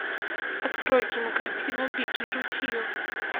открой кинокартину беги ручеек